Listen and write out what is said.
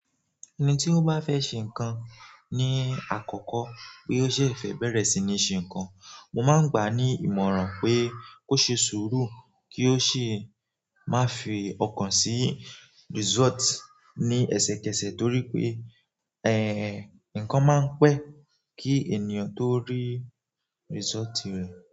Ẹni tí ó bá fẹ́ ṣe nǹkan ni àkọ́kọ́ pé ó ṣẹ̀fẹ̀ bẹ̀rẹ̀ sí ní ṣe nǹkan, mo máa ń gbà ní ìmọ̀ràn pé kó ṣe sùúrù kí ó sì má fi ọkàn sí result ni ẹsẹkẹsẹ toripe e nǹkan maa n pẹ ki ènìyàn to ri result rẹ.